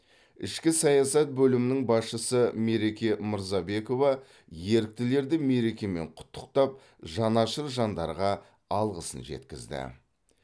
ішкі саясат бөлімінің басшысы мереке мырзабекова еріктілерді мерекемен құттықтап жанашыр жандарға алғысын жеткізді